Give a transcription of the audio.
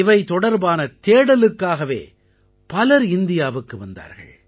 இவை தொடர்பான தேடலுக்காகவே பலர் இந்தியாவுக்கு வந்தார்கள்